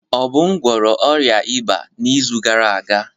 Obum gwọrọ ọrịa ịba n'izu gara aga.